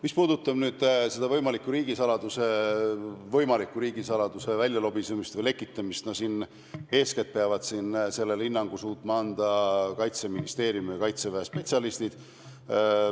Mis puudutab võimaliku riigisaladuse väljalobisemist või lekitamist, siis eeskätt peavad sellele suutma hinnangu anda Kaitseministeeriumi ja Kaitseväe spetsialistid.